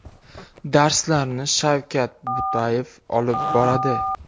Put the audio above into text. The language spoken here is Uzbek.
Darslarni Shavkat Butayev olib boradi.